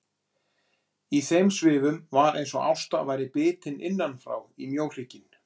Í þeim svifum var eins og Ásta væri bitin innanfrá í mjóhrygginn.